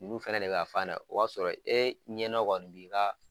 Ulu fɛnɛ de bi ka fan da.O b'a sɔrɔ e ɲɛnɔ kɔni b'i ka